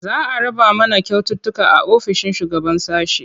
Za a raba mana kyaututtuka a ofishin shugaban sashe.